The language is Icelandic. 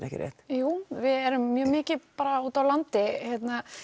ekki rétt jú við erum mjög mikið úti á landi